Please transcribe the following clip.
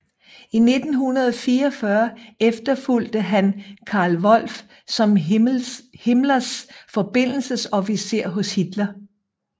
I 1944 efterfulgte han Karl Wolff som Himmlers forbindelsesofficer hos Hitler